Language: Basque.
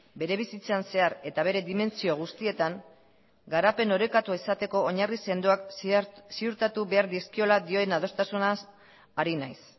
bere bizitzan zehar eta bere dimentsio guztietan garapen orekatua izateko oinarri sendoak ziurtatu behar dizkiola dioen adostasunaz ari naiz